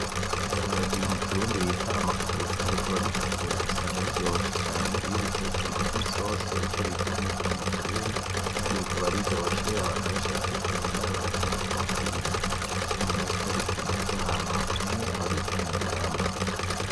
Ibiharage mu kirundi bita makuza bikaba bitukura usanga biryoshe cane iyo ubiteste bigira nisosi ico bita umufa mu kirundi , kandi bikaba biryoshe abantu benshi barabikunda baravyitaho ku birima ikindi naco bikunda kuba ahantu hakanye aho bita mu Mugamba.